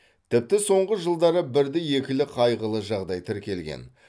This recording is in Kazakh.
тіпті соңғы жылдары бірді екілі қайғылы жағдай тіркелген